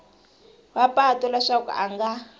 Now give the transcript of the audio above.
wa patu leswaku a nga